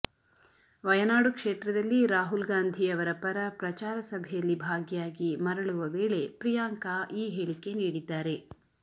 ವಯನಾಡು ಕ್ಷೇತ್ರದಲ್ಲಿ ರಾಹುಲ್ ಗಾಂಧಿ ಅವರ ಪರ ಪ್ರಚಾರ ಸಭೆಯಲ್ಲಿ ಭಾಗಿಯಾಗಿ ಮರಳುವ ವೇಳೆ ಪ್ರಿಯಾಂಕಾ ಈ ಹೇಳಿಕೆ ನೀಡಿದ್ದಾರೆ